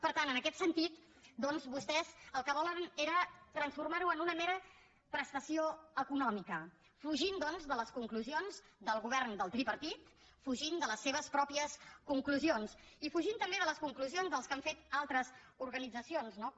per tant en aquest sentit doncs vostès el que volen era transformar ho en una mera prestació econòmica fugint doncs de les conclusions del govern del tripartit fugint de les seves pròpies conclusions i fugint també de les conclusions que han fet altres organitzacions no com